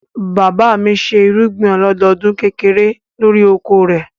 Bàbá mi ṣe irúgbìn ọlọ́dọdún kékeré lórí oko rẹ̀.